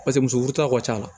Paseke muso furula ka ca